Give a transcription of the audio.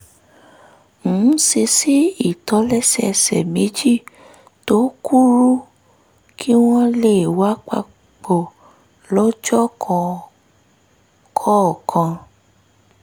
ń ṣe sí ìtòlẹ́sẹẹsẹ méjì tó kúrú kí wọ́n lè wà papọ̀ lọ́jọ́ kọ̀ọ̀kan